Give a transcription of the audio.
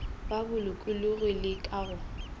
ka bolokologi le ka go